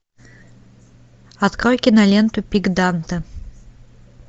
открой киноленту пик данте